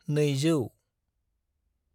नैजौ